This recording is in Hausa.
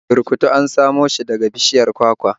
Burkutu ana samo shi daga bishiyar kwakwa